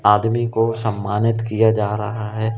आदमी को सम्मानित किया जा रहा है।